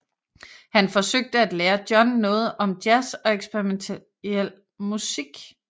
Han forsøgte at lære John noget om jazz og eksperimentel musik